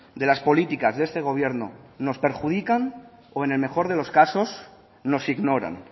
de las políticas de este gobierno nos perjudican o en el mejor de los casos nos ignoran